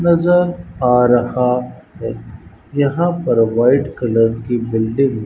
नजर आ रहा है यहां पर वाइट कलर की बिल्डिंग --